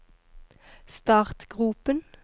startgropen